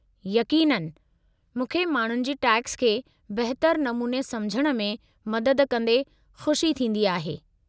यक़ीननि, मूंखे माण्हुनि जी टैक्स खे बहितरु नमूने समझण में मदद कंदे खुशी थींदी आहे।